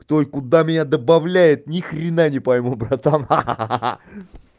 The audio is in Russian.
кто и куда меня добавляет ни хрена не пойму братан ха ха